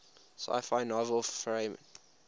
sci fi novel fahrenheit